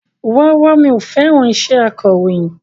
Rárá mi ò fẹ́ràn iṣẹ́ akọ̀rọ̀yìn